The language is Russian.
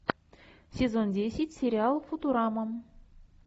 сезон десять сериал футурама